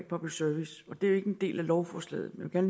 public service det er ikke en del af lovforslaget men jeg